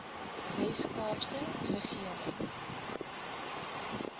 wes kaapse regering